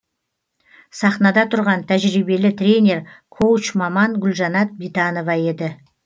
сахнада тұрған тәжірбиелі тренер коуч маман гулжанат битанова еді